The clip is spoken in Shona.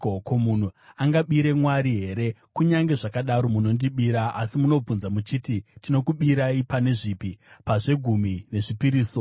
“Ko, munhu angabire Mwari here? Kunyange zvakadaro munondibira. “Asi munobvunza muchiti, ‘Tinokubirai pane zvipi?’ “Pazvegumi nezvipiriso.